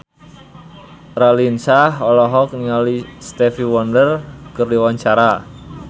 Raline Shah olohok ningali Stevie Wonder keur diwawancara